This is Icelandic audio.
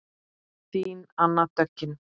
Þín Anna Döggin.